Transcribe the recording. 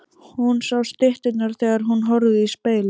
Hún sá stytturnar þegar hún horfði í spegilinn.